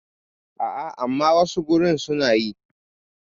A a, amma wasu gurin su na yi.